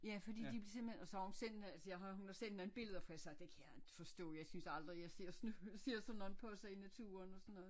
Ja fordi de simpelthen og så har hun selv altså jeg har hun har sendt nogle billeder for jeg sagde det kan jeg ikke forstå jeg synes aldrig jeg ser sådan nogle ser sådan nogle poser i naturen og sådan noget